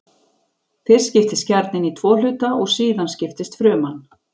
Fyrst skiptist kjarninn í tvo hluta og síðan skiptist fruman.